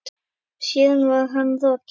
Síðan var hann rokinn.